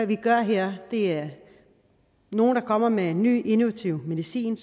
vi gør her nogle kommer med ny innovative medicin